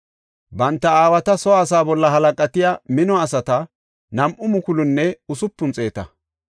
Banta aawata soo asaa bolla halaqatiya mino asati nam7u mukulunne usupun xeeta.